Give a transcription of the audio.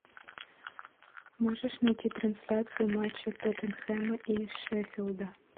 можешь найти трансляцию матча тоттенхэма и шеффилда